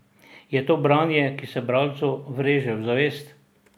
Je to branje, ki se bralcu vreže v zavest?